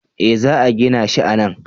Eh za a gina shi a nan